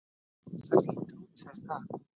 Það lítur út fyrir það